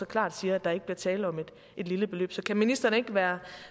klart siger at der ikke bliver tale om et lille beløb så kan ministeren ikke være